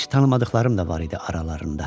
Heç tanımadıqlarım da var idi aralarında.